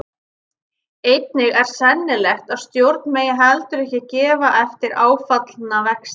Einnig er sennilegt að stjórn megi heldur ekki gefa eftir áfallna vexti.